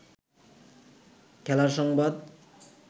খেলার সংবাদ